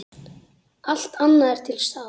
Allt annað er til staðar.